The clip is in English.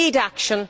we need action